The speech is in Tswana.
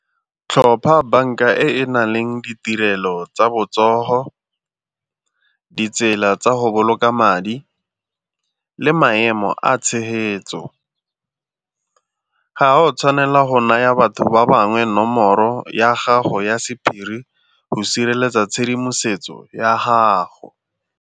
Tlhopha banka e e na leng ditirelo tsa botsogo, ditsela tsa go boloka madi le maemo a tshegetso. Ga o tshwanela go naya batho ba bangwe nomoro ya gago ya sephiri go sireletsa tshedimosetso ya gago.